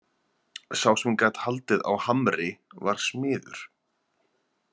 Sá sem gat haldið á hamri var smiður.